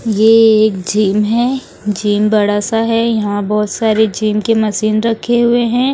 ये एक झीम है जिम बड़ा सा है यहां बहुत सारे जिम के मशीन रखे हुए हैं।